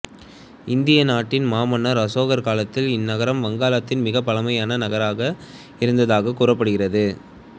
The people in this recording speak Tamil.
இந்திய நாட்டின் மாமன்னர் அசோகர் காலத்தில் இந்நகரம் வங்காளத்தின் மிகப் பழமையான நகரமாக இருந்ததாகக் கூறப்படுகிறது